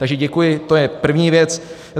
Takže děkuji, to je první věc.